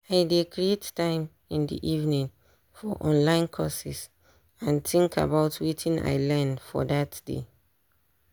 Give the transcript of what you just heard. i dey create time in de evening for online courses and think about wetin i learn for dat day